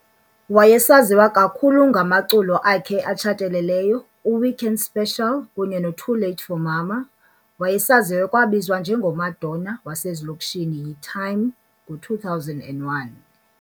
Wayesaziwa kakhulu ngamaculo akhe atshathelelyo "u-Weekend Special" kunye no "Too Late for Mama", wayesaziwa ekwabizwa nje ngo "Madonna wasezilokishini" yi "Time" ngo2001.